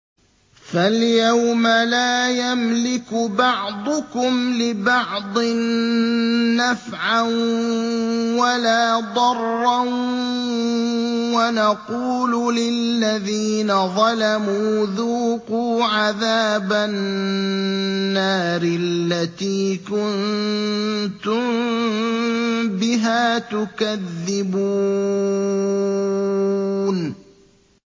فَالْيَوْمَ لَا يَمْلِكُ بَعْضُكُمْ لِبَعْضٍ نَّفْعًا وَلَا ضَرًّا وَنَقُولُ لِلَّذِينَ ظَلَمُوا ذُوقُوا عَذَابَ النَّارِ الَّتِي كُنتُم بِهَا تُكَذِّبُونَ